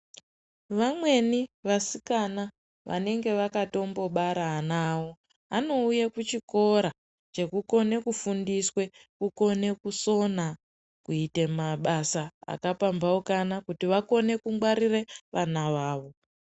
Vamweni vasikana vanenge vakatombobara ana awo , anouya kuchikora chekukona kufundiswa kukone kusona, kuite mabasa akapambaukana kuti wakone kungwarira vana vawo.